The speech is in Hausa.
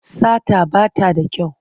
Sata ba ta da kyau.